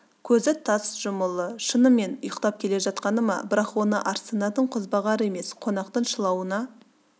көзі тарс жұмулы шынымен ұйықтап келе жатқаны ма бірақ оны арсынатын қозбағар емес қонақтың шылауына